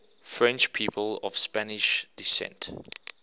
french people of spanish descent